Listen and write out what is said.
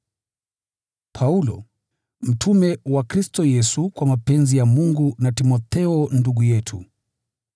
Paulo, mtume wa Kristo Yesu, kwa mapenzi ya Mungu, na Timotheo ndugu yetu: